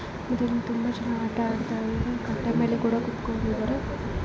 ಇದರಲ್ಲಿ ತುಂಬಾ ಜನ ಆಡ್ತಾ ಇದ್ದಾರೆ ಕಟ್ಟೆ ಮೇಲೆ ಕೂಡ ಕುತ್ಕೊಂಡಿದ್ದಾರೆ .